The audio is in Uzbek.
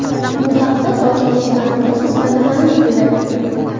Bu haqda hokimlik matbuot xizmati maʼlum qildi .